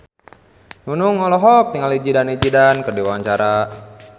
Nunung olohok ningali Zidane Zidane keur diwawancara